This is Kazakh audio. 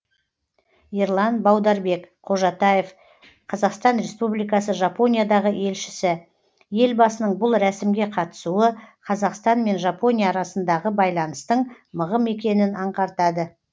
ерлан баударбек қожатаев қазақстан республикасы жапониядағы елшісі елбасының бұл рәсімге қатысуы қазақстан мен жапония арасындағы байланыстың мығым екенін аңғартады